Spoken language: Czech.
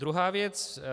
Druhá věc.